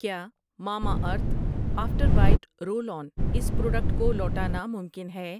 کیا Mamaearth after bite roll on اس product کو لوٹانا ممکن ہے؟